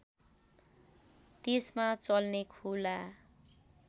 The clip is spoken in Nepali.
त्यसमा चल्ने खुला